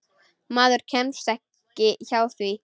Maður kemst ekki hjá því.